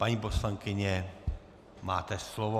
Paní poslankyně, máte slovo.